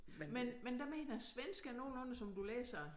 Men men der mener jeg svensk er nogenlunde som du læser det